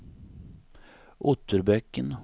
Otterbäcken